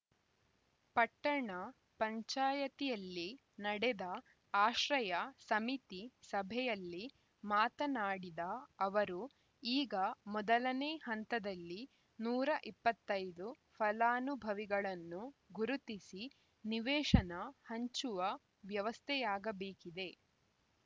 ಪಟ್ಟಣ ಪಂಚಾಯತಿಯಲ್ಲಿ ನಡೆದ ಆಶ್ರಯ ಸಮಿತಿ ಸಭೆಯಲ್ಲಿ ಮಾತನಾಡಿದ ಅವರು ಈಗ ಮೊದಲನೇ ಹಂತದಲ್ಲಿ ನೂರ ಇಪ್ಪತ್ತೈ ದು ಫಲಾನುಭವಿಗಳನ್ನು ಗುರುತಿಸಿ ನಿವೇಶನ ಹಂಚುವ ವ್ಯವಸ್ಥೆಯಾಗಬೇಕಿದೆ